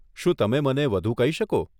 શું તમે મને વધુ કહી શકો?